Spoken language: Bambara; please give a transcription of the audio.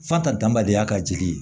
F'a ta danbaliya ka jigin